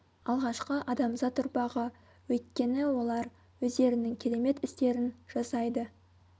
алғашқы адамзат ұрпағы өйткені олар өздерінің керемет істерін жасайды